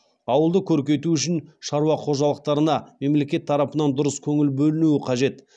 ауылды көркейту үшін шаруа қожалықтарына мемлекет тарапынан дұрыс көңіл бөлінуі қажет